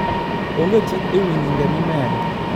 onge chik ewi nyinge mimedo